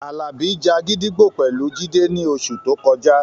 Àlàbí ja gídígbò pẹ̀lú Jídé ní oṣù tó kọjá